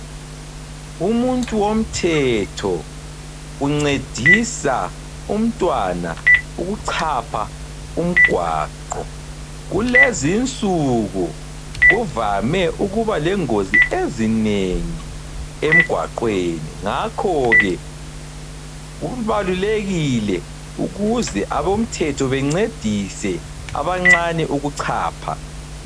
Umuntu womthetho uncedisa umntwana ukuchapha umgwaqo. Kulezinsuku kuvame ukuba lengozi ezinengi emgwaqweni , ngakho ke kubalulekile ukuze abomthetho bencedise abancane ukuchapha.